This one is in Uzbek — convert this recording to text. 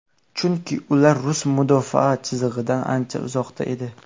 Chunki ular rus mudofaa chizig‘idan ancha uzoqda edi.